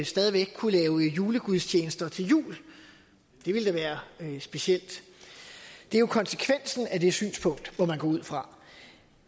stadig væk kunne lave julegudstjenester til jul det ville da være specielt det er jo konsekvensen af det synspunkt må man gå ud fra